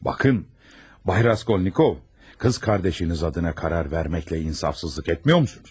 Baxın, cənab Raskolnikov, bacınız adına qərar verməklə insafsızlıq etmirsinizmi?